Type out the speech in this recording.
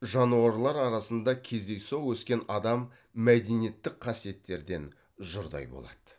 жануарлар арасында кездейсоқ өскен адам мәдениеттік қасиеттерден жұрдай болады